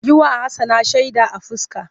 Yi wa Hassana shaida a fuska!